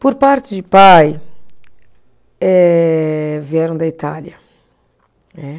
Por parte de pai, eh, vieram da Itália, né.